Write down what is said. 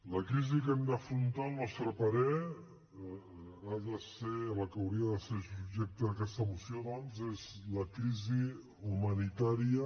la crisi que hem d’afrontar al nostre parer la que hauria de ser subjecte d’aquesta moció doncs és la crisi humanitària